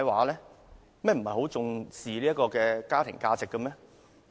你們不是很重視家庭價值嗎？